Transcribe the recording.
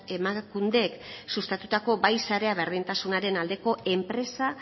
emakundek sustatutako bai sarea berdintasunaren aldeko enpresa